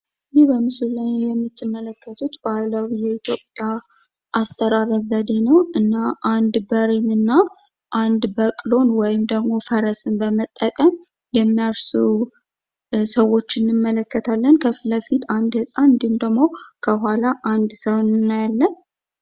የህ በምስሉ ላይ የምትመለከቱት ባህላዊ የኢትዮጵያ አስተራረስ ዘዴ ነው። እና አንድ በሬን እና አንድ በቅሎን ወይም ፈረስን በመጠቀም የሚያርሱ ሰዎች እንመለከታለን። ከፊትለፊት አንድ ህጻን እንድሁም ደግሞ ከኋላ አንድ ሰው እናያለን።